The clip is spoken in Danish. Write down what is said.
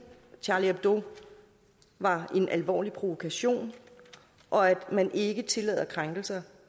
charlie hebdo var en alvorlig provokation og at man ikke tillader krænkelser